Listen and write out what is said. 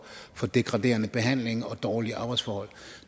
for degraderende behandling og dårlige arbejdsforhold